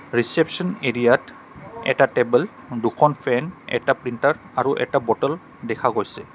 ৰিশ্বেপছন area ত এটা table দুখন ফেন এটা প্ৰিন্টাৰ আৰু এটা বটল দেখা গৈছে।